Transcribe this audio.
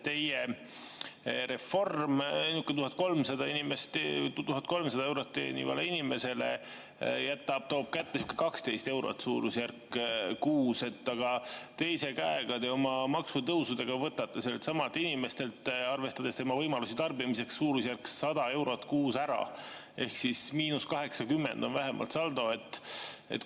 Teie reform 1300 eurot teenivale inimesele toob kätte umbes 12 eurot kuus, aga teise käega te oma maksutõusudega võtate selleltsamalt inimeselt, arvestades tema võimalusi tarbimiseks, umbes 100 eurot kuus ära, ehk saldo on vähemalt –80.